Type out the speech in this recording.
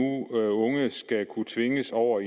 skal kunne tvinges over